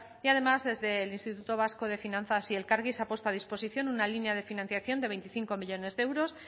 y además desde el instituto vasco de finanzas y elkargi se ha puesto a disposición una línea de financiación de veinticinco millónes de euros